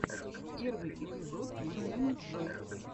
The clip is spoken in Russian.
первый эпизод масяняджой